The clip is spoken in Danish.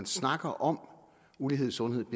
snakker om ulighed i sundhed